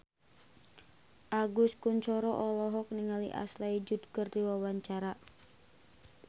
Agus Kuncoro olohok ningali Ashley Judd keur diwawancara